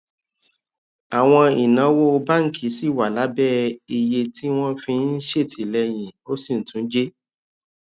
àwọn ìnáwó báńkì ṣì wà lábé iye tí wọn fi ń ṣètìléyìn ó sì tún jé